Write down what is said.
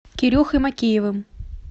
кирюхой мокеевым